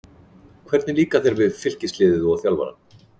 Hvernig líkar þér við Fylkisliðið og þjálfarann?